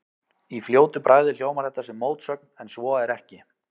Í fljótu bragði hljómar þetta sem mótsögn en svo er ekki.